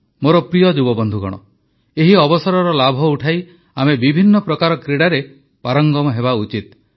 ମୋର ପ୍ରିୟ ଯୁବବନ୍ଧୁଗଣ ଏହି ଅବସରର ଲାଭ ଉଠାଇ ଆମେ ବିଭିନ୍ନ ପ୍ରକାର କ୍ରୀଡ଼ାରେ ପାରଙ୍ଗମ ହେବା ଉଚିତ